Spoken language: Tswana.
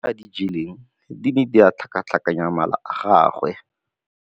Dijô tse a di jeleng di ne di tlhakatlhakanya mala a gagwe.